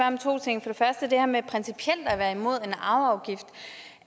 om to ting for det første det her med principielt at være imod en arveafgift